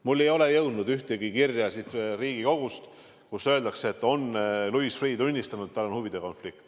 Minuni ei ole jõudnud ühtegi kirja siit Riigikogust, kus öeldakse, et Louis Freeh on tunnistanud, et tal on huvide konflikt.